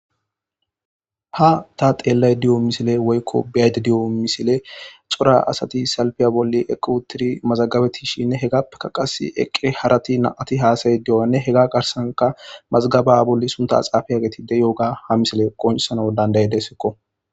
Ha ta xeellay diyo misile woykko biyayde diyo misile xora asati salpiya bolli equ tiri mazagabetishinne hegappeka qas eqqe harati naati haasayi di'onne hega garsanka mazgaba bolli sunta axaafaya getide yo'oga ha misile qonsano dandaye dessekko.